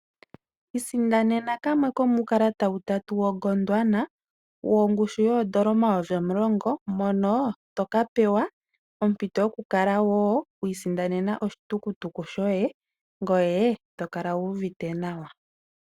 Isindanena kamwe komuukalata utatu woGondwana wongushu yoondola omayovi omulongo mono wo tokape wa ompito wo yoku isandanena oshitukutu shoye ngoye to kala wu uvite nawa.